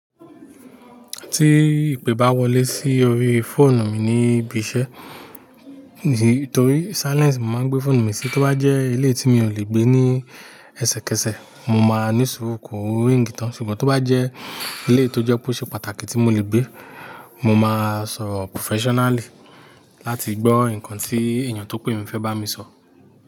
Tí ìpè bá wọlé sí orí fóònù mi ní ibi iṣẹ́, nìtorí silence mo màá n gbé fóònù mi sí, tó bá jẹ́ eleyii tí mi ò lè gbé ní ẹsẹkẹsẹ, mo máa ní sùúrù kò ring tán. Ṣùgbọ́n tó bá jẹ́ eleyii tó jẹ́ pe o ṣe pàtàkì tí mo lè gbé, mo máa sọro professionally láti gbọ́ ǹkan tí èèyàn tó pè mi fẹ́ bá mi sọ.